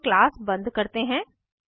यहाँ हम क्लास बंद करते हैं